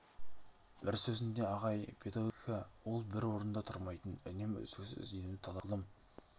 бір сөзінде ағай педагогика ол бір орнында тұрмайтын үнемі үздіксіз ізденуді талап ететін ғылым